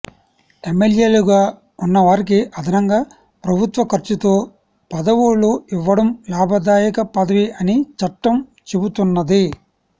ఎమ్మె ల్యేలుగా ఉన్నవారికి అదనంగా ప్రభుత్వఖర్చుతో పదవు లు ఇవ్వడం లాభదాయక పదవి అని చట్టం చెపుతు న్నది